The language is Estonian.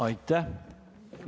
Aitäh!